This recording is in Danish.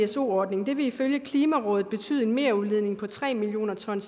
pso ordningen ville ifølge klimarådet betyde en merudledning på tre millioner ton